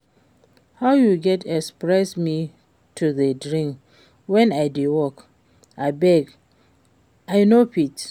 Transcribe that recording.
How you go expect me to dey drink wen I dey work? Abeg I no fit